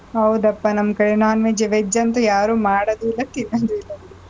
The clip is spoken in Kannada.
ಹೌದಪ್ಪ. ನಮ್ ಕಡೆ non-veg veg ಅಂತೂ ಯಾರೂ ಮಾಡದೂ ಇಲ್ಲ, ತಿನ್ನದೂ ಇಲ್ಲ ಬಿಡು.